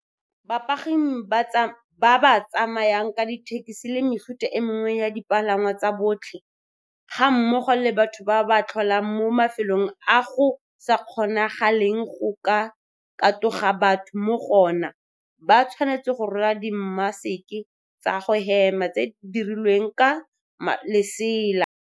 Bapagami ba ba tsamayang ka dithekisi le mefuta e mengwe ya dipalangwa tsa botlhe, ga mmogo le batho ba ba tlholang mo mafelong a go sa kgonagaleng go ka katoga batho mo go ona, ba tshwanetse go rwala dimaseke tsa go hema tse di dirilweng ka lesela.